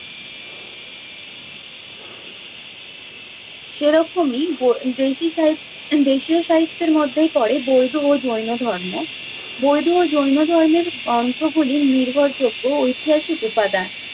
সেরকমই দেশি সাহি~ দেশীয় সাহিত্যের মধ্যেই পরে বৈধ ও জৈন ধর্ম। বৈধ ও জৈন ধর্মের গ্রন্থগুলি নির্ভরযোগ্য ঐতিহাসিক উপাদান।